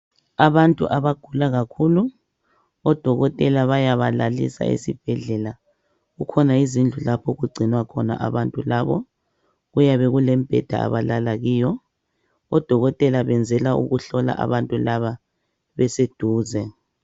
Abantu abagula kakhulu odokotela bayabalalisa esibhedlela kukhona izindlu lapho okugcinwa khona abantu labo kuyabe kule mbheda abalala kiyo odokotela benzela ukuhlola abantu labo beseduze